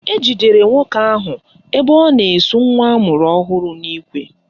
Ejidere nwoke ahụ ebe ọ na-esu nwa amụrụ ọhụrụ n'ikwe